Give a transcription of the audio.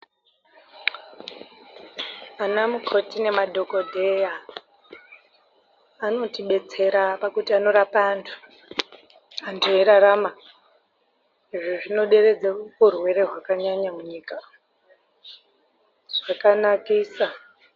Anamukoti nemadhokodheya anotibetsera pakuti anorapa antu, antu eirarama. Izvi zvinoderedza urwere hwakanyanya munyika, zvakanakisa.